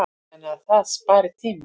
Þannig að það spari tíma.